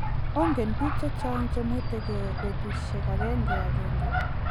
Oongen biik chechang chemwetengei betusiek agengeagenge.